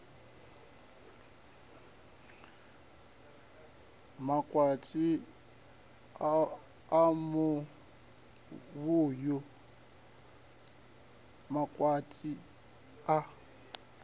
makwati a muvhuyu makwati a